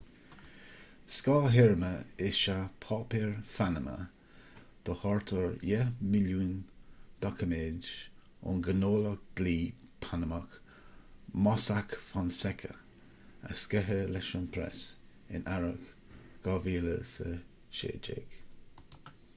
scáth-théarma is ea páipéir phanama do thart ar dheich milliún doiciméad ón ngnólacht dlí panamach mossack fonseca a sceitheadh leis an bpreas in earrach 2016